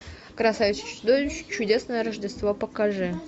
красавица и чудовище чудесное рождество покажи